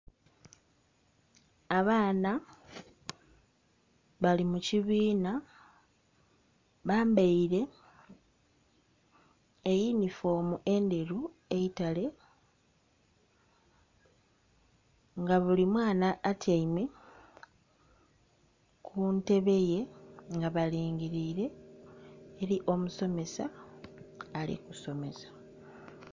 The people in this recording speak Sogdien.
Abaana bali mu kibiina bambaire eyunifoomu endheru eitale nga buli mwana atyaime ku ntebe ye nga balingiliire eri omusomesa ali kusomesa.